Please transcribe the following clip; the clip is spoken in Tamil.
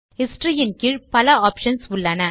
ஹிஸ்டரி இன் கீழ் பல ஆப்ஷன்ஸ் உள்ளன